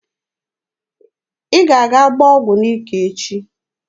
Ị ga-aga gbaa ọgụ n'ike echi!